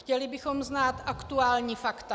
Chtěli bychom znát aktuální fakta.